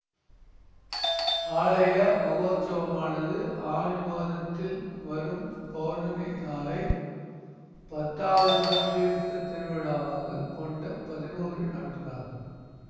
ஆலய மகோற்சவமானது ஆனி மாதத்தில் வரும் பௌர்ணமி நாளை பத்தாவது நாள் தீர்த்த திருவிழாவாக கொண்ட பதினொரு நாட்களாகும்